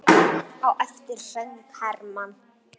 Á eftir söng Hermann